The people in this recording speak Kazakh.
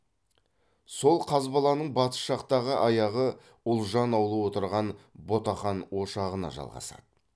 сол қазбаланың батыс жақтағы аяғы ұлжан аулы отырған ботақан ошағына жалғасады